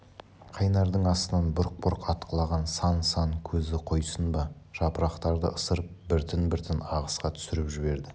қайнардың астынан бұрқ-бұрқ атқылаған сан-сан көзі қойсын ба жапырақтарды ысырып біртін-біртін ағысқа түсіріп жіберді